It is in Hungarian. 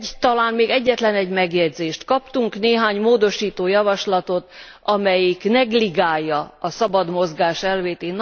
Talán még egyetlen egy megjegyzést kaptunk néhány módosító javaslatot, amelyik negligálja a szabad mozgás elvét.